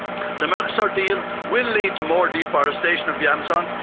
The Mercosur deal will lead to more deforestation of the Amazon.